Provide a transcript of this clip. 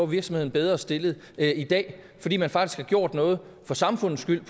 virksomheden bedre stillet i dag fordi man faktisk gjort noget for samfundets skyld